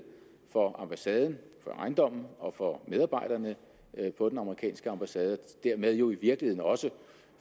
for ambassaden for ejendommen og for medarbejderne på den amerikanske ambassade og dermed jo i virkeligheden også